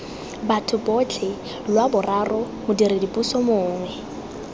batho botlhe lwaboraro modiredipuso mongwe